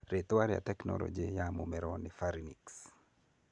Rĩtwa rĩa tekinoronji rĩa mũmero nĩ pharynx.